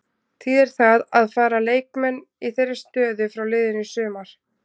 Þýðir það að fara leikmenn í þeirri stöðu frá liðinu í sumar?